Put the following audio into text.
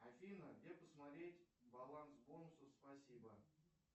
афина где посмотреть баланс бонусов спасибо